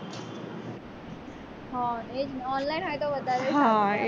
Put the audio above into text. હા તે જ ને online હોય તો વધારે સારું